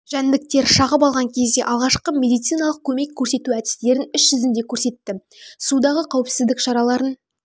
жәндіктер шағып алған кезде алғашқы медициналық көмек көрсету әдістерін іс жүзінде көрсетті судағы қауіпсіздік шараларын